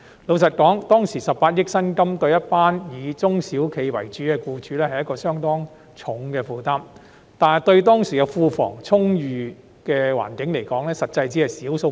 坦白說，當時18億元的薪金，對中小型企業的僱主而言，是相當沉重的負擔，但對當時庫房充裕的政府而言，卻只是小數目。